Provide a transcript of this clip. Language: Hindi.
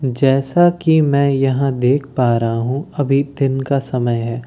जैसा कि मैं यहां देख पा रहा हूं अभी दिन का समय है।